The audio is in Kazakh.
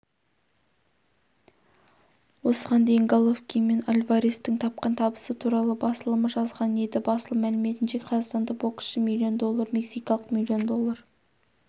осыған дейін головкин мен альварестің тапқан табысы туралы басылымы жазған еді басылым мәліметінше қазақстандық боксшы миллион доллар мексикалық миллион доллар